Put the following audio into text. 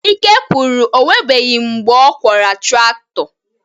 Ike kwuru, o nwebeghị mgbe ọ kwọra traktọ.